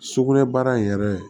Sugunɛ baara in yɛrɛ